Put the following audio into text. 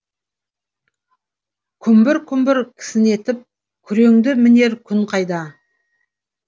күмбір күмбір кісінетіп күреңді мінер күн қайда